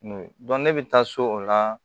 ne bɛ taa so o la